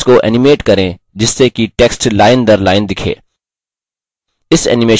text को animate करें जिससे कि text lineदरline दिखे